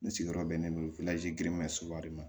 N sigiyɔrɔ bɛnnen don varizi giriman soba de ma